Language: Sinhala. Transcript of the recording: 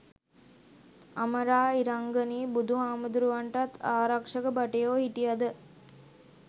අමරා ඉරංගනී බුදු හාමුදුරුවන්ටත් ආරක්ෂක භටයෝ හිටයද?